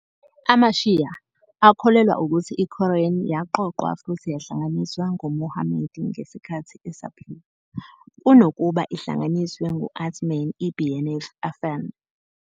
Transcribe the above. AmaShīa akholelwa ukuthi iQuran yaqoqwa futhi yahlanganiswa nguMuhammad ngesikhathi esaphila, kunokuba ihlanganiswe ngu- Uthman ibn Affan.